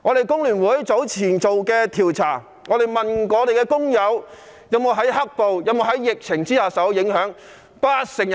工聯會早前進行一項調查，訪問工友在"黑暴"及疫情下有否受到影響。